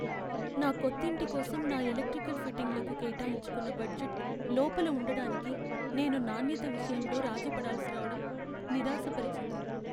నా కొత్తింటి కోసం నా ఎలక్ట్రికల్ ఫిట్టింగ్లకు కేటాయించుకున్న బడ్జెట్ లోపల ఉండడానికి నేను నాణ్యత విషయంలో రాజీ పడాల్సి రావడం నిరాశపరిచింది.